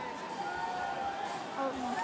Það eru blettir út um allt.